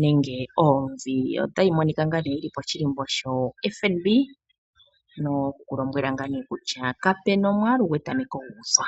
nenge oomvi notayi monika yi li poshihako shoFNB. Oku ku lomwela ngaa nduno kutya kapu na omwaalu gwetameko gu uthwa.